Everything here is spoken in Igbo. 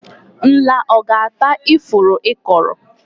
Nla ọ ga-ata ifuru ị kọrọ?